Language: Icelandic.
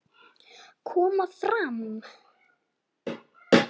Koma fram!